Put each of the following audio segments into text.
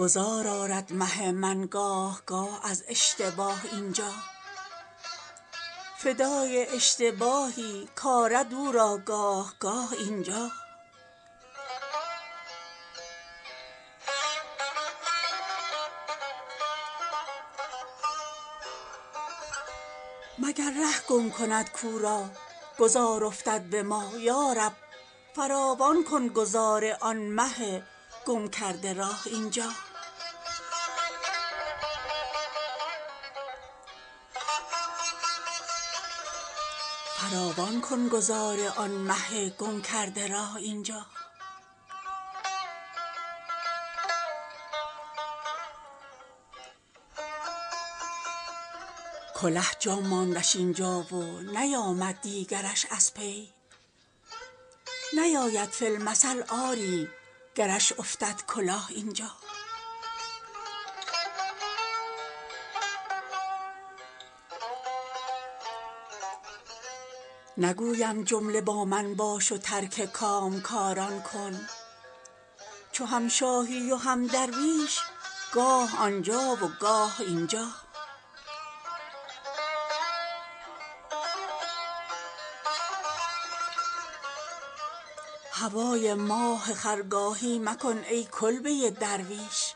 گذار آرد مه من گاه گاه از اشتباه اینجا فدای اشتباهی کآرد او را گاه گاه اینجا مگر ره گم کند کو را گذار افتد به ما یارب فراوان کن گذار آن مه گم کرده راه اینجا کله جا ماندش این جا و نیامد دیگرش از پی نیاید فی المثل آری گرش افتد کلاه اینجا نگویم جمله با من باش و ترک کامکاران کن چو هم شاهی و هم درویش گاه آنجا و گاه اینجا هوای ماه خرگاهی مکن ای کلبه درویش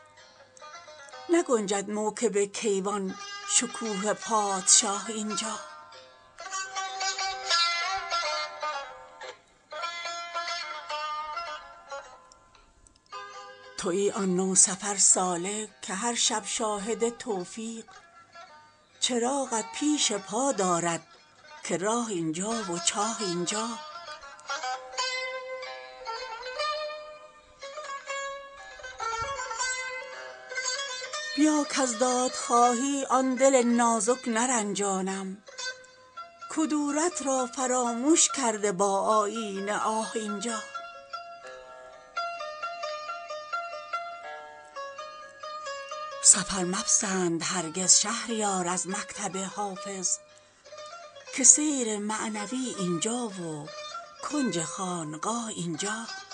نگنجد موکب کیوان شکوه پادشاه اینجا شبی کان ماه با من بود می گفتم کلید صبح به چاه افکنده ایم امشب که دربند است ماه اینجا ندانستم که هم از نیمه شب تازد برون خورشید که نگذارد ز غیرت ماه را تا صبحگاه اینجا تویی آن نوسفر سالک که هر شب شاهد توفیق چراغت پیش پا دارد که راه اینجا و چاه اینجا به کوی عشق یا قصر شهان یا کلبه درویش فروغ دوست می خواهی تو خواه آنجا و خواه اینجا بیا کز دادخواهی آن دل نازک نرنجانیم کدورت را فرامش کرده با آیینه آه اینجا سفر مپسند هرگز شهریار از مکتب حافظ که سیر معنوی اینجا و کنج خانقاه اینجا